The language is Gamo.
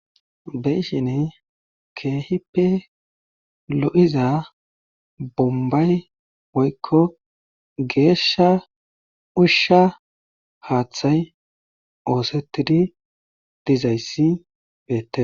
Be7ishini keehippe lo7iza bombbay woykko geeshsha ushsha haaththay oosettidi dizayssi beette.